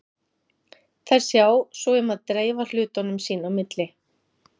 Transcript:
Þær sjá svo um að dreifa hlutunum sín á milli.